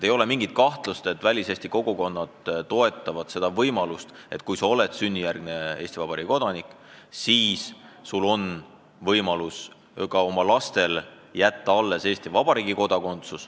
Ei ole mingit kahtlust, et väliseesti kogukonnad toetavad seda lahendust, et kui sa oled sünnijärgne Eesti Vabariigi kodanik, siis on ka sinu lapsed Eesti kodanikud.